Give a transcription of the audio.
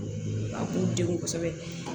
A k'u denw kosɛbɛ